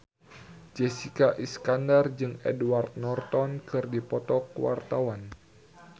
Jessica Iskandar jeung Edward Norton keur dipoto ku wartawan